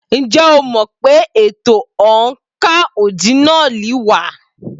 Ǹjẹ́ o mọ̀ pé ètò oǹkà ọ́dínààlí wà?